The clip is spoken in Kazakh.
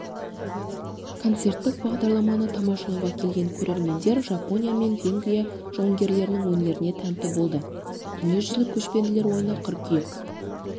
концерттік бағдарламаны тамашалауға келген көрермендер жапония мен венгрия жауынгерлерінің өнерлеріне тәнті болды дүниежүзілік көшпенділер ойыны қыркүйек